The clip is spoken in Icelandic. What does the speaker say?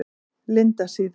Lindasíðu